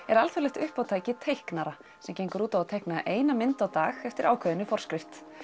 er alþjóðlegt uppátæki teiknara sem gengur út á að teikna eina mynd á dag eftir ákveðinni forskrift